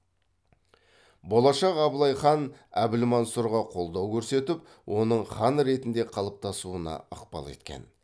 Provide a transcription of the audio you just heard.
болашақ абылай хан әбілмансұрға қолдау көрсетіп оның хан ретінде қалыптасуына ықпал еткен